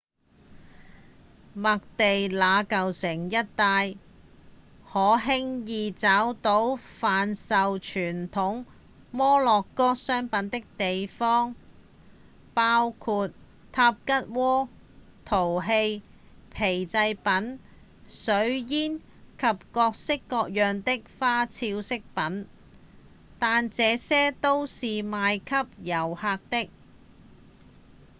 麥地那舊城一帶可輕易找到販售傳統摩洛哥商品的地方包括塔吉鍋、陶器、皮製品、水煙及各式各樣的花俏飾品但這些都是賣給遊客的